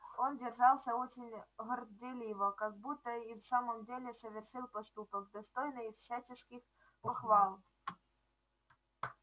он держался очень горделиво как будто и в самом деле совершил поступок достойный всяческих похвал